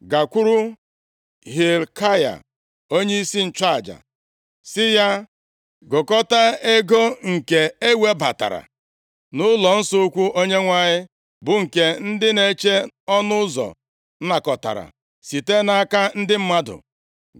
“Gakwuru Hilkaya onyeisi nchụaja, sị ya, gụkọta ego nke e webatara nʼụlọnsọ ukwu Onyenwe anyị, bụ nke ndị na-eche ọnụ ụzọ nakọtara site nʼaka ndị mmadụ.